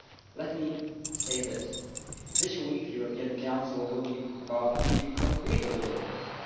Let me say that this week's European Council will be about achieving concrete deliverables.